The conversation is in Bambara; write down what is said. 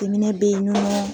Den minɛ be ye numaa